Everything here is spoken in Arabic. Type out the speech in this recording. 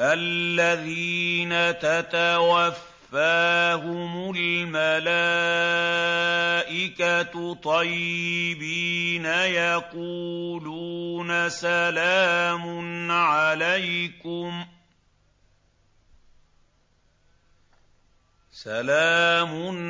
الَّذِينَ تَتَوَفَّاهُمُ الْمَلَائِكَةُ طَيِّبِينَ ۙ يَقُولُونَ سَلَامٌ